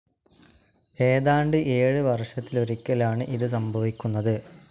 ഏതാണ്ട് ഏഴ് വർഷത്തിലൊരിക്കലാണ്‌ ഇത് സംഭവിക്കുന്നത്.